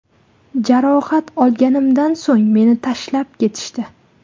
Jarohat olganimdan so‘ng meni tashlab ketishdi.